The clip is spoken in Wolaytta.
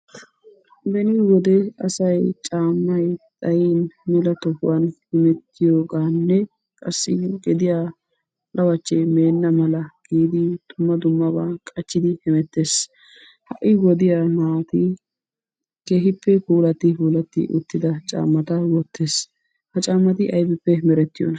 Benni wode asay caammay xayiin mella tohuwaani hemettiyogganne qassi lawachche meena malla giidi dumma dummabaani qachchidi hemettes, ha'i wodiyaa naatti keehippe puullatipulati uttida caammatta wottees. Ha caammsy aybippe merettiyoons?